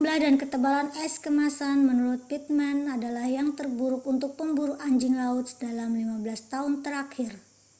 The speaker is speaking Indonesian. jumlah dan ketebalan es kemasan menurut pittman adalah yang terburuk untuk pemburu anjing laut dalam 15 tahun terakhir